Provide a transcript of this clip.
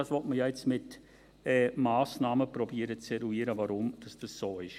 Nun will man ja mit Massnahmen versuchen zu eruieren, warum das so ist.